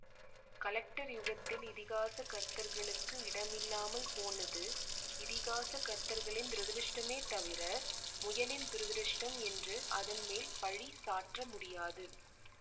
collector யுகத்தில் இதிகாச கர்த்தர்களுக்கு இடம் இல்லாமல் போனது இதிகாச கர்த்தர்களின் துரதிருஷ்டமே தவிர முயலின் துரதிருஷ்டம் என்று அதன்மேல் பழி சாற்ற முடியாது